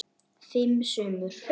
Fimm sumur